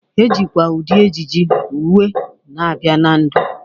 Ejikwa ụdị ejiji, uwe na-abịa na ndụ.